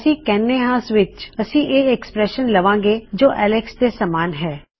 ਅਸੀ ਕਹਨੇ ਹਾ ਸਵਿਚ ਅਸੀ ਇਸ ਐੱਕਸਪ੍ਰੈਸ਼ਨ ਲਵਾਂਗੇ ਜੋ ਅਲੈਕਸ ਦੇ ਸਮਾਨ ਹੈ